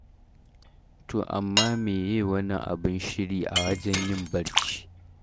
To amma me ye wani abin shiri a wajen yin barci?